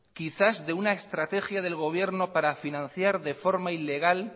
quizás de alguna estrategia del gobierno para financiar de forma ilegal